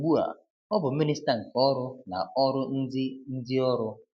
Ugbu a, ọ bụ Minista nke Ọrụ na Ọrụ Ndị Ndị Ọrụ.